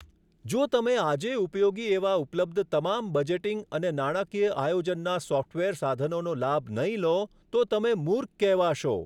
જો તમે આજે ઉપયોગી એવા ઉપલબ્ધ તમામ બજેટિંગ અને નાણાકીય આયોજનના સોફ્ટવેર સાધનોનો લાભ નહીં લો તો તમે મૂર્ખ કહેવાશો.